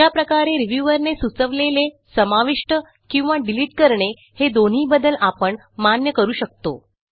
अशा प्रकारे रिव्ह्यूअर ने सुचवलेले समाविष्ट किंवा डिलिट करणे हे दोनही बदल आपण मान्य करू शकतो